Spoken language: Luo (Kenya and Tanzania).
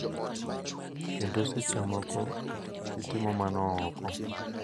kendo seche moko gitimo mano oko.